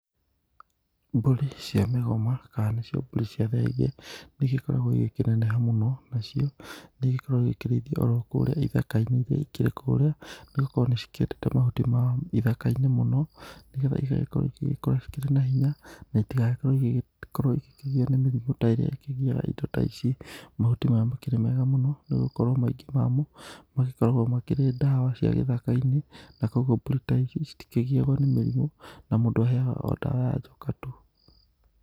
Mbũri cia mĩgoma kana nĩcio mbũri cia thenge nĩ igĩkoragwo igĩkĩneneha mũno nacio nĩ igĩkoragwo igĩkĩrĩithio o ro kũrĩa ithaka-inĩ iria ikĩrĩ o kũrĩa nĩ gũkorwo nĩ cikĩendete mahuti ma ithaka-inĩ mũnoo, nĩgetha igagĩkorwo cigĩgĩkũra cikĩrĩ na hinya na itigagĩkorwo igĩkĩgio nĩ mĩrimũ ta iria ikĩgiaga indo ta ici. Mahuti maya makĩrĩ mega mũno nĩ gũkorwo maingĩ mamo magĩkoragwo makĩrĩ dawa cia gĩthaka-inĩ, na kũguo mbũrĩ ta ici citikĩgiagwo nĩ mĩrimũ, na mũndũ aheaga o dawa ya njoka tu.